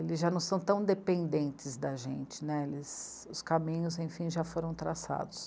eles já não são tão dependentes da gente, né, eles... os caminhos, enfim, já foram traçados.